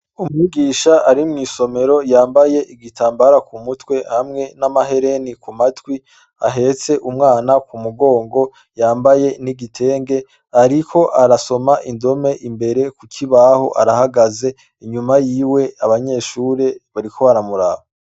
Umwigisha ari mwi somero yambaye igitambara ku mutwe hamwe n' amahereni kumatwi ahetse umwana ku mugongo yambaye n' igitenge ariko arasoma indole imbere ku kibaho arahagaze inyuma yiwe abanyeshure bariko baramuraba.